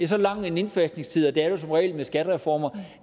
så lang en indfasningstid er der som regel med skattereformer